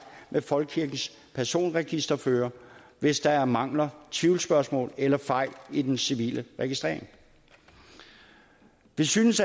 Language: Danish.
med folkekirkens personregisterfører hvis der er mangler tvivlsspørgsmål eller fejl i den civile registrering vi synes